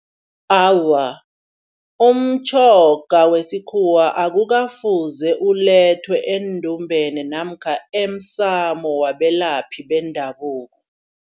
Awa umtjhoga wesikhuwa akukafuze ulethwe endumbeni namkha emsamo wabelaphi bendabuko.